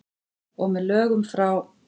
Og með lögum frá